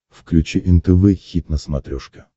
включи нтв хит на смотрешке